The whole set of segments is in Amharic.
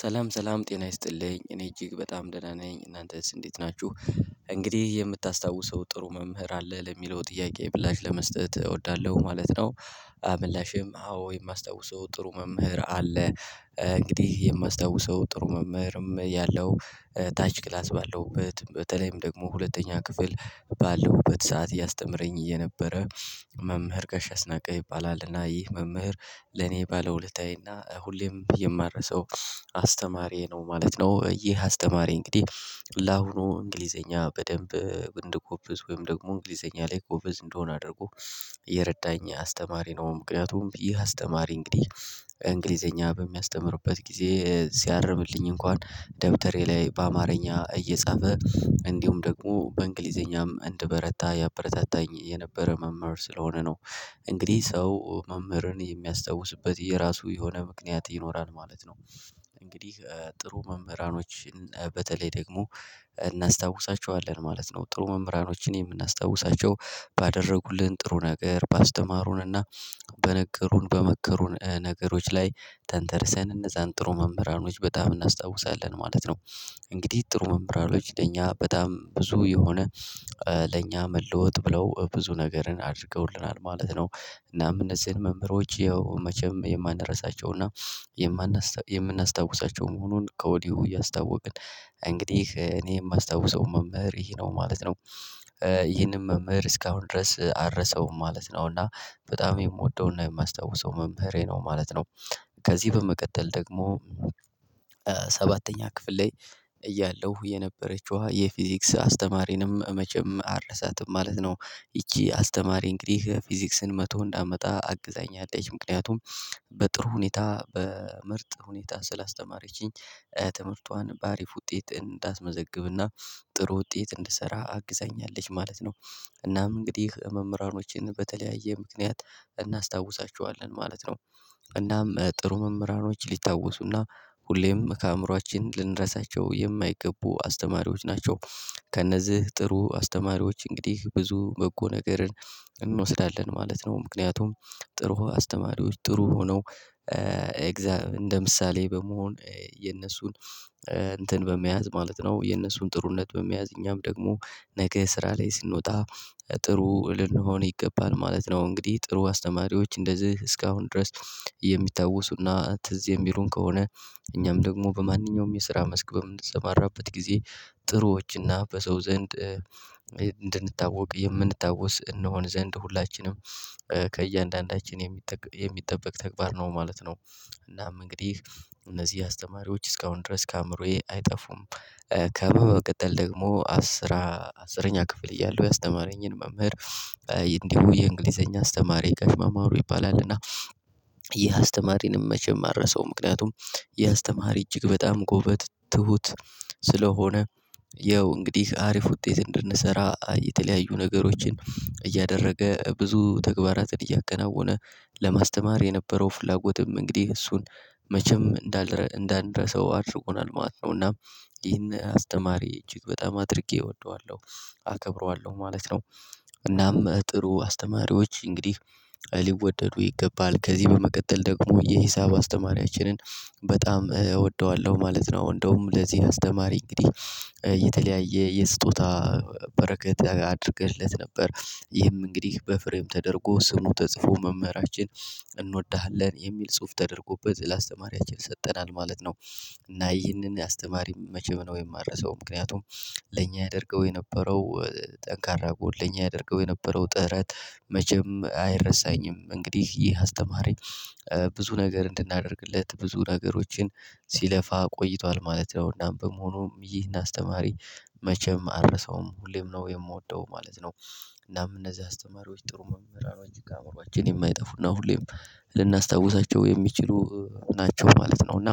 ሰላም ሰላም ጤና ይስጥልኝ እኔ እጅግ በጣም ደህና ነኝ እናንተስ እንዴት ናችሁ? እንግዲህ የምታስታውሰው ጥሩ መምህር አለ ለሚለው ጥያቄ ምላሽ ለመስጠት እወዳለሁ ማለት ነው። ምላሼም አዎ የማስታውሰው ጥሩ መምህር አለ እንግዲህ የማስታውሰው ጥሩ መምህርም ያለው ታች ክላስ ባለውበት በተለይም ደግሞ ሁለተኛ ክፍል ባለውበት ሰዓት ያስተምረኝ እየነበረ መምህር ጋሽ አስነቀ ይባላልና ይህ መምህር ለኔ ባለውለታዬና ሁሌም የማረሰው አስተማሪዬ ነው ማለት ነው። ይህ አስተማሪ እንግዲህ ለአሁኑ እንግሊዘኛ በደንብ እንድጎብዝ ወይም ደግሞ እንግሊዘኛ ላይ ጎበዝ እንደሆነ አድርጎ የረዳኝ አስተማሪ ነው። ምክንያቱም ይህ አስተማሪ እንግዲህ እንግሊዘኛ በሚያስተምርበት ጊዜ ሲያርምልኝ እንኳን ደብተሬ ላይ በአማርኛ እየጻፈ እንዲሁም ደግሞ በእንግሊዘኛም እንድበረታ ያበረታታኝ የነበረ መምህር ስለሆነ ነው። እንግዲህ ሰው መምህርን የሚያስታውስበት የራሱ የሆነ ምክንያት ይኖራል ማለት ነው። እንግዲህ ጥሩ መምህራኖችን በተለይ ደግሞ እናስታውሳቸዋለን ማለት ነው ጥሩ መምህራኖችን የምናስታውሳቸው ባደረጉልን ጥሩ ነገር ባስተማሩንና በነገሩን በመከሩን ነገሮች ላይ ተንተርሰን እነዛን ጥሩ መምህራኖች በጣም እናስታውሳለን ማለት ነው። እንግዲህ ጥሩ መምህራኖች ለእኛ በጣም ብዙ የሆነ ለእኛ መለወጥ ብለው ብዙ ነገርን አድርገውልናል ማለት ነው። እናም እነዚህን መምህሮች ያው መቼም የማንረሳቸውና የምናስታውሳቸው መሆኑን ከወዲሁ እያስታወቅን እንግዲህ እኔ የማስታውሰው መምህር ይሄ ነው ማለት ነው። ይህንን መምህር እስካሁን ድረስ አልረሳውም ማለት ነው እና በጣም የምወደውና የማስታውሰው መምህሬ ነው ማለት ነው። ከዚህ በመቀጠል ደግሞ ሰባተኛ ክፍል ላይ እያለሁ የነበረችዋ የፊዚክስ አስተማሪንም መቼም አልረሳትም ማለት ነው። ይቺ አስተማሪ እንግዲህ ፊዚክስን መቶ እንዳመጣ አግዛኛለች ምክንያቱም በጥሩ ሁኔታ በምርጥ ሁኔታ ስላስተማረችኝ ትምህርቷን በአሪፍ ውጤት እንዳስመዘግብና ጥሩ ውጤት እንድሰራ አግዛኛለች ማለት ነው። እናም እንግዲህ መምህራኖችን በተለያየ ምክንያት እናስታውሳቸዋለን ማለት ነው። እናም ጥሩ መምህራኖች ሊታወሱና ሁሌም ከአእምሮአችን ልንረሳቸው የማይገቡ አስተማሪዎች ናቸው። ከእነዚህ ጥሩ አስተማሪዎች እንግዲህ ብዙ በጎ ነገርን እንወስዳለን ማለት ነው። ምክንያቱም ጥሩ አስተማሪዎች ጥሩ ሆነው እንደ ምሳሌ በመሆን የእነሱን እንትን በመያዝ ማለት ነው የነሱን ጥሩነት በመያዝ እኛም ደግሞ ነገ ስራ ላይ ስንወጣ ጥሩ ልንሆን ይገባል ማለት ነው። እንግዲህ ጥሩ አስተማሪዎች እንደዚህ እስካሁን ድረስ የሚታወሱና ትዝ የሚሉን ከሆነ እኛም ደግሞ በማንኛውም የስራ መስክ በምንሰማራበት ጊዜ ጥሩዎችና በሰው ዘንድ እንድንታወቅ የምንታወስ እንሆን ዘንድ ሁላችንም ከእያንዳንዳችን የሚጠበቅ ተግባር ነው ማለት ነው። እናም እንግዲህ እነዚህ አስተማሪዎች እስካሁን ድረስ ከአእምሮዬ አይጠፉም። ከበ በመቀጠል ደግሞ አስራ አስረኛ ክፍል እያለሁ ያስተማረኝን መምህር እንዲሁ የእንግሊዘኛ አስተማሪ ጋሽ ማማሩ ይባላልና ይህ አስተማሪንም መቼም አረሳውም ምክንያቱም ይህ አስተማሪ እጅግ በጣም ጎበዝ ትሁት ስለሆነ ያው እንግዲህ አሪፍ ውጤት እንድንሰራ የተለያዩ ነገሮችን እያደረገ ብዙ ተግባራትን እያከናወነ ለማስተማር የነበረው ፍላጎትም እንግዲህ እሱን መቼም እንዳን እንዳንረሳው አድርጎናል ማለት ነው። እናም ይሄን አስተማሪ እጅ በጣም አድርጌ እወደዋለሁ አከብረዋለሁ ማለት ነው። እናም ጥሩ አስተማሪዎች እንግዲህ ሊወደዱ ይገባል ከዚህ በመቀጠል ደግሞ የሂሳብ አስተማሪያችንን በጣም እወደዋለሁ ማለት ነው። እንደውም ለዚህ አስተማሪ እንግዲህ የተለያየ የስጦታ በረከት አድርገንለት ነበር ይህም እንግዲህ በፍሬም ተደርጎ ስሙ ተጽፎ መምህራችን እንወድሃለን የሚል ጽሁፍ ተደርጎበት ለአስተማሪያችን ይሰጠናል ማለት ነው። እና ይህንን አስተማሪ መቼም ነው የማረሳው ምክንያቱም ለኛ ያደርገው የነበረው ጠንካራ ጎል ለኛ ያደርገው የነበረው ጥረት መቼም አይረሳኝም። እንግዲህ ይህ አስተማሪ ብዙ ነገር እንድናደርግለት ብዙ ነገሮችን ሲለፋ ቆይቷል ማለት ነው። እናም በመሆኑም ይህን አስተማሪ መቼም አልረሳውም ሁሌም ነው የምወደው ማለት ነው። እናም እነዚህ አስተማሪዎች ጥሩ መምህራኖች ከአእምሮአችን የማይጠፉና ሁሌም ልናስታውሳቸው የሚችሉ ናቸው ማለት ነው። እና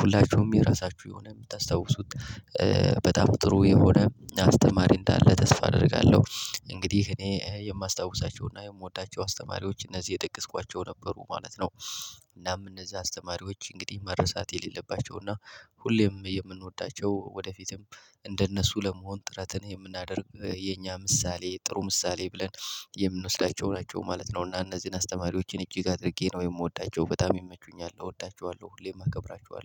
ሁላችሁም የራሳችሁ የሆነ የምታስታውሱት በጣም ጥሩ የሆነ አስተማሪ እንዳለ ተስፋ አደርጋለሁ እንግዲህ እኔ የማስታውሳቸውና የምወዳቸው አስተማሪዎች እነዚህ የጠቀስኳቸው ነበሩ ማለት ነው። እናም እነዚህ አስተማሪዎች እንግዲህ መረሳት የሌለባቸው እና ሁሌም የምንወዳቸው ወደፊትም እንደነሱ ለመሆን ጥረትን የምናደርግ የኛ ምሳሌ ጥሩ ምሳሌ ብለን የምንወስዳቸው ናቸው ማለት ነው። እና እነዚህን አስተማሪዎችን እጅግ አድርጌ ነው የምወዳቸው በጣም ይመቹኛል እወዳቸዋለሁ ሁሌም አከብራቸዋለው